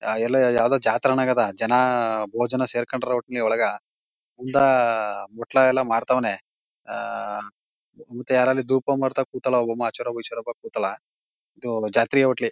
ಅಹ್ ಎಲ್ಲೊ ಯಾವ್ದೋ ಜಾತ್ರೆಗ ಅನ್ನಂಗ್ ಅದ. ಜನ ಮೂವತ್ ಜನ ಸೇರಿಕೊಂಡ್ರಾ ಒಟ್ನಲ್ಲಿ ಒಳಗ ಮುಂದ ಬಟ್ಲಾ ಎಲ್ಲ ಮಾರ್ಥವನೇ. ಅಹ್ ಇದು ಜಾತ್ರೆ ಹೋಟ್ಲಿ--